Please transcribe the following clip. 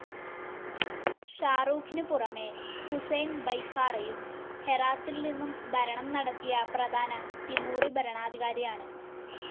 ഷാഹ്‌ രൂഖിനു പുറമേ, ഹുസൈൻ ബൈഖാറയും ഹെറാത്തിൽ നിന്നും ഭരണം നടത്തിയ പ്രധാന തിമൂറി ഭരണാധികാരിയാണ്.